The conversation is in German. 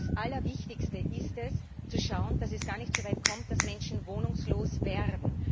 Das Allerwichtigste ist es zu schauen, dass es gar nicht so weit kommt, dass Menschen wohnungslos werden.